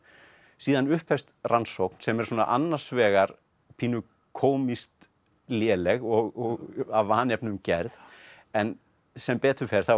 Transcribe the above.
síðan upphefst rannsókn sem er annars vegar pínu kómískt léleg og af vanefnum gerð en sem betur fer þá